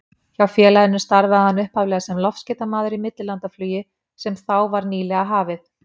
Hjá félaginu starfaði hann upphaflega sem loftskeytamaður í millilandaflugi sem þá var nýlega hafið.